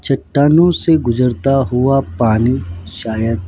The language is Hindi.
चट्टानों से गुजरता हुआ पानी शायद--